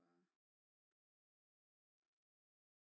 Fra